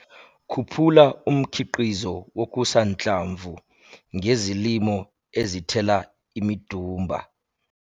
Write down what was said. Khuphula umkhiqizo wokusanhlamvu ngezilimo ezithela imidumba